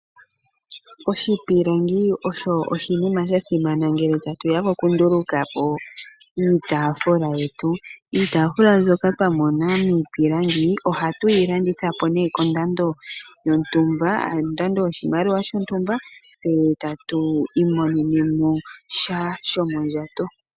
Oshipilangi osho oshinima sha simana ngele tatu ya kokunduluka po iitafula yetu. Iitafula mbyoka twa mona niipilangi ohatu yi landitha po nee kondando yontumba, ano kondando yoshimaliwa shontumba e ta tu imonenemo sha shomondjato.